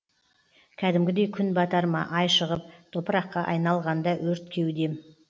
кәдімгідей күн батар ма ай шығып топыраққа айналғанда өрт кеудем